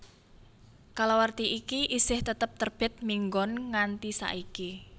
Kalawarti iki isih tetep terbit minggon nganti saiki